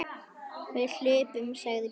Við hlupum, sagði Björn.